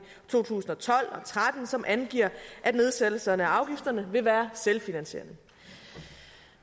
to tusind og tolv tretten som angiver at nedsættelsen af afgifterne vil være selvfinansierende